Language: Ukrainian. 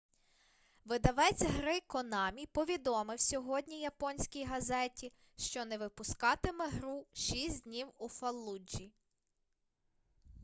видавець гри конамі повідомив сьогодні японській газеті що не випускатиме гру шість днів у фаллуджі